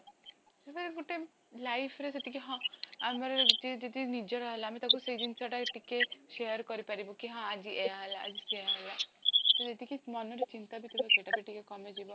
ଗୋଟେ lifeରେ ସେତିକି ହଁ ଆମର ଯଦି ଯଦି ନିଜର ହେଲା ଆମେ ତାକୁ ସେ ଜିନିଷଟା ଟିକେ share କରି ପାରିବୁ କି ହଁ ଆଜି ଏଇୟା ହେଲା ଆଜି ସେଇୟା ହେଲା ତ ଯେତିକି ମନରେ ଚିନ୍ତାବିଥିବ ସେଟାବି ଟିକେ କମି ଯିବ